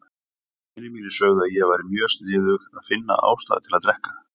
Vinir mínir sögðu að ég væri mjög sniðug að finna ástæðu til að drekka.